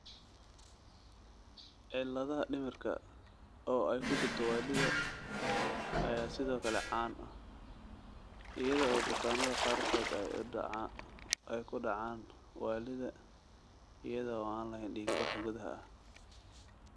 cilladaha dhimirka, oo ay ku jirto waallida ayaa sidoo kale caan ah, iyada oo bukaannada qaarkood ay ku dhacaan waallida iyada oo aan lahayn dhiigbax gudaha ah.